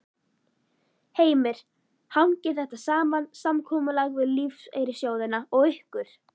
Heimir: Hangir þetta saman, samkomulag við lífeyrissjóðina og ykkur?